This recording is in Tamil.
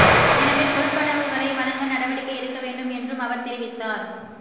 எனவே கொடுப்பனவுகளை வழங்க நடவடிக்கை எடுக்க வேண்டும் என்றும் அவர் தெரிவித்தார்